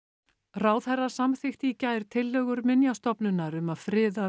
ráðherra samþykkti í gær tillögur Minjastofnunar um að friða